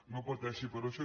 no pateixi per això